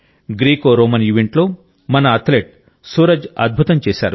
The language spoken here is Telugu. గ్రీకోరోమన్ ఈవెంట్లో మన అథ్లెట్ సూరజ్ అద్భుతం చేశారు